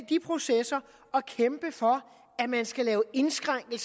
de processer og kæmper for at man skal lave indskrænkninger